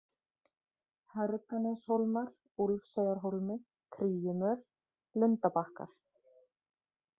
Hörganeshólmar, Úlfseyjarhólmi, Kríumöl, Lundabakkar